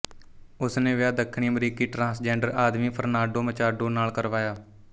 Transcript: ਉਸ ਨੇ ਵਿਆਹ ਦੱਖਣੀ ਅਮਰੀਕੀ ਟ੍ਰਾਂਸਜੈਂਡਰ ਆਦਮੀ ਫਰਨਾਂਡੋ ਮਚਾਡੋ ਨਾਲ ਕਰਵਾਇਆ